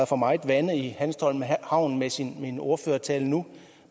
for meget vande i hanstholm havn med sin ordførertale nu